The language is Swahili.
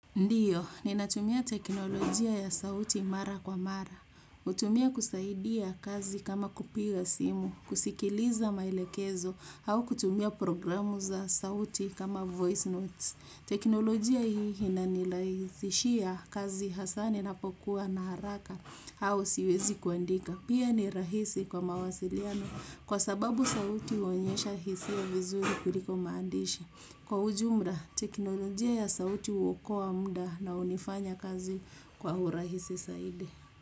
Ndiyo, ninatumia teknolojia ya sauti mara kwa mara. Hutumia kusaidia kazi kama kupiga simu, kusikiliza maelekezo, au kutumia programu za sauti kama voice notes. Teknolojia hii ina niraisishia kazi hasa ninapokua na haraka, au siwezi kuandika. Pia ni rahisi kwa mawasiliano, kwa sababu sauti huonyesha hisia vizuri kuliko maandishi. Kwa ujumla, teknolojia ya sauti huokoa muda na hunifanya kazi kwa urahisi zaidi.